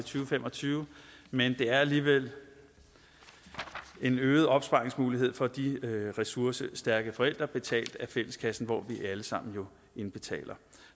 fem og tyve men det er alligevel en øget opsparingsmulighed for de ressourcestærke forældre betalt af fælleskassen hvor vi alle sammen indbetaler